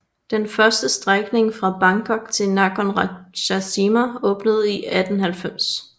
Den første strækning fra Bangkok til Nakhon Ratchasima åbnede i 1890